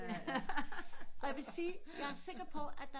Og jeg vil sige jeg er sikker på at der